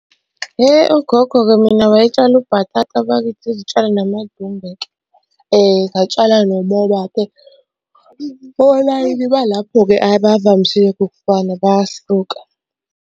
Ugogo-ke mina wayetshale ubhatata bakithi, izitshalo namadumbe-ke. Ngatshala nomoba-ke, olayini balapho-ke abavamisile ukufana bayahluka.